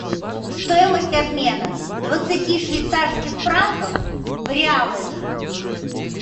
стоимость обмена двадцати швейцарских франков в реалы